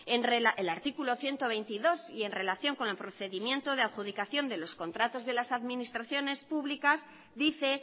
el artículo ciento veintidós y en relación con el procedimiento de adjudicación de los contratos de las administraciones públicas dice